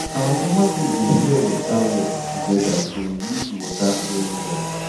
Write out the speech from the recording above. our farmer group dey share water work together to use water well well